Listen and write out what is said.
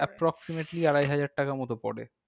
Approximately আড়াই হাজার টাকা মতো পরে।